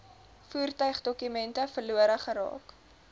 voertuigdokumente verlore geraak